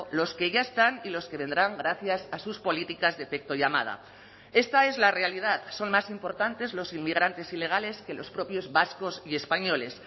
los que ya están y los que vendrán gracias a sus políticas de efecto llamada esta es la realidad son más importantes los inmigrantes ilegales que los propios vascos y españoles